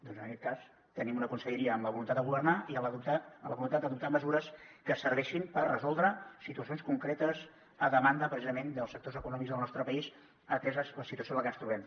doncs en aquest cas tenim una conselleria amb la voluntat de governar i amb la voluntat d’adoptar mesures que serveixin per resoldre situacions concretes a demanda precisament dels sectors econòmics del nostre país atesa la situació en la que ens trobem